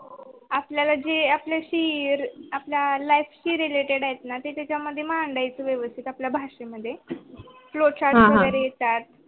आपल्याला जे आपल्याशी आपल्या life शी related आहे न ते त्याच्या मध्ये मांडायची व्यवस्थित आपला भाषे मधे flowchart वैगेरे येतात हा हा